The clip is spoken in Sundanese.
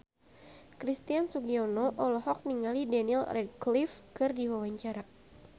Christian Sugiono olohok ningali Daniel Radcliffe keur diwawancara